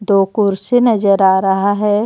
दो कुर्सी नजर आ रहा है.